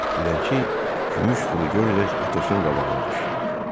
Dilənçi gümüş pulu götürərək Atosun qabağına düşdü.